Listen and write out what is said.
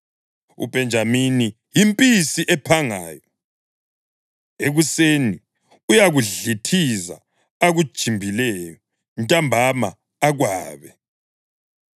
UBhenjamini yimpisi ephangayo; ekuseni uyakudlithiza akujimbileyo, ntambama akwabe.”